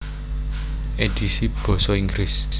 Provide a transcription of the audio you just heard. Édhisi basa Inggris